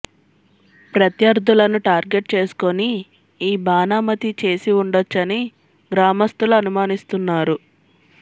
ప్రత్యర్థులను టార్గెట్ చేసుకుని ఈ బాణామతి చేసి ఉండొచ్చని గ్రామస్తులు అనుమానిస్తున్నారు